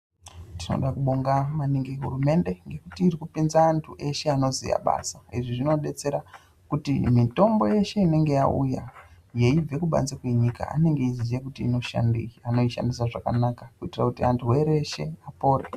Tinoda kubonga maningi hurumende ngekuti irikupinza antu eshe anoziya basa. Izvi zvinodetsera kuti mitombo yeshe inenge yauya yeibve kubanze kwenyika anenge eizviziya kuti inoshandeyi. Anoishandisa zvakanaka, kuitira kuti arwere eshe apore.